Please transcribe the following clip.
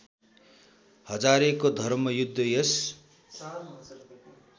हजारेको धर्मयुद्ध यस